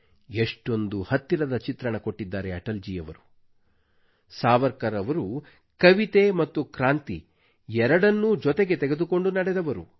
ಎಷ್ಟೊಂದು ಹತ್ತಿರದ ಚಿತ್ರಣ ಕೊಟ್ಟಿದ್ದಾರೆ ಅಟಲ್ ಜೀ ಯವರು ಸಾವರ್ಕರ್ ಅವರು ಕವಿತೆ ಮತ್ತು ಕ್ರಾಂತಿ ಎರಡನ್ನೂ ಜೊತೆಗೆ ತೆಗೆದುಕೊಂಡು ನಡೆದವರು